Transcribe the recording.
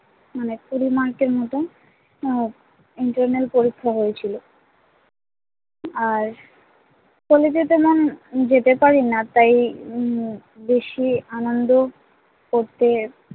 উম কুড়ি mark এর মতো আর internal পরীক্ষা হয়েছিল ম আর কলেজে তেমন যেতে পারিনা তাই উম বেশি আনন্দ করতে